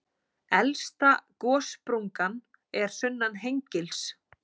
Elsta gossprungan er sunnan Hengils.